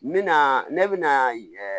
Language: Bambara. N mɛna ne bɛna